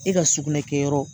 E ka sugunɛ kɛ yɔrɔ.